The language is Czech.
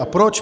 A proč?